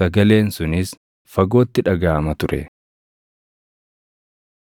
sagaleen sunis fagootti dhagaʼama ture.